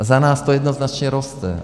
A za nás to jednoznačně roste.